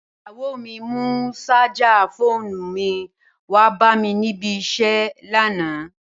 Ìyàwó mi mú ṣájà fóònù mi wá bá mi ní ibi-iṣẹ́ lánàá.